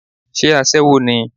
Sé aṣẹ́wó ni?